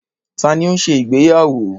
Ta ni ó ń ṣe ìgbéyàwó?